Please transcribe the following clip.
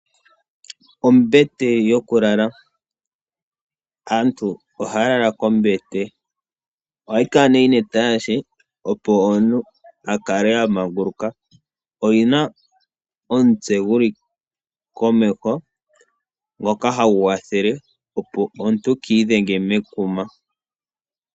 Aantu ohaya lala kombete. Ohayi kala yi na etalashe opo omuntu a kale a manguluka. Oyina omutse gu li komeho ngoka hagy kwathele opo omuntu kaa idhenge mekuma.